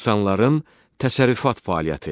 İnsanların təsərrüfat fəaliyyəti.